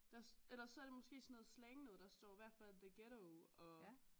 Der eller så er det måske sådan noget slang noget der står i hvert fald the ghetto og